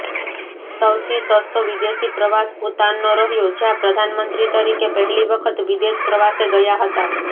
સૌથી સસ્તો વિદેશી પ્રવાસ ભૂતાનનો રહ્યો જ્યાં પ્રધાનમંત્રી તરીકે પહેલી વખત વિદેશ પ્રવાસે ગયા હતા